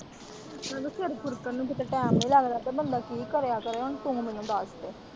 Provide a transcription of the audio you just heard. ਮੈਨੂੰ ਸਿਰ ਖੂਰਕਣ ਨੂੰ ਕਿਤੇ ਟੈਮ ਨੀ ਲੱਗਦਾ ਤੇ ਬੰਦਾ ਕੀ ਕਰੇ ਆ ਕਰੇ ਹੁਣ ਤੂੰ ਮੈਨੂੰ ਦੱਸ।